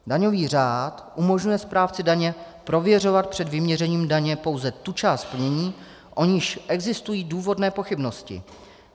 Daňový řád umožňuje správci daně prověřovat před vyměřením daně pouze tu část plnění, o níž existují důvodné pochybnosti.